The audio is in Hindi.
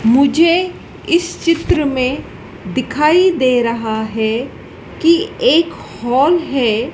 मुझे इस चित्र मे दिखाई दे रहा है कि एक हॉल है।